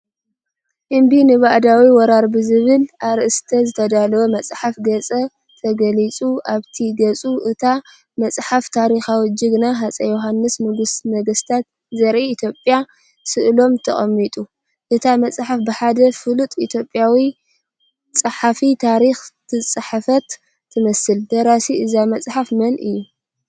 "እምቢ ንባእዳዊ ወራር" ብዝብል ኣርእስቲ ዝተዳለወ መፅሓፍ ገፅ ተገሊፁ ኣብቲ ገጽ እታ መጽሓፍ ታሪኻዊ ጅግና ሃፀይ ዮሃንስ ንጉሰ ነገስት ዘ-ኢ/ያ ስእሎም ተቐሚጡ፡፡ እታ መጽሓፍ ብሓደ ፍሉጥ ኢትዮጵያዊ ጸሓፊ ታሪኽ ዝተጻሕፈት ትመስል። ደራሲ እዛ መጽሓፍ መን እዩ?